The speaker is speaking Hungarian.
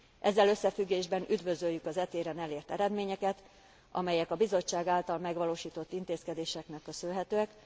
Ezzel összefüggésben üdvözöljük az e téren elért eredményeket, amelyek a Bizottság által megvalósított intézkedéseknek köszönhetőek.